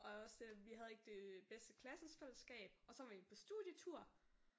Og også øh vi have ikke det bedste klassefælleskab og så var vi på studietur